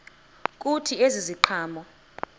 kuthi ezi ziqhamo